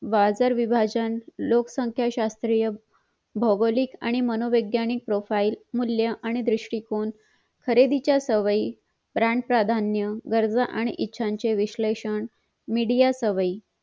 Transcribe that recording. बाजार विभाजन लोकसंख्या शास्त्रीय भोगोलिक आणि मनोवैज्ञानिक profile मूल्य आणि दुष्टीकोण खरेदीच्या सवयी रान प्राधान्य गरजा आणि ईच्छ्या याचे विशलेषण media सवयी